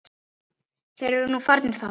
Þeir eru nú farnir þaðan.